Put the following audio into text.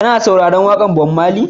Kana sauraron waƙar Bob Marley?